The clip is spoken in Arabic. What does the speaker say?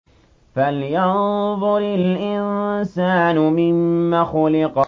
فَلْيَنظُرِ الْإِنسَانُ مِمَّ خُلِقَ